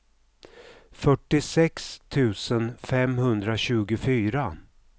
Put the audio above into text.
fyrtiosex tusen femhundratjugofyra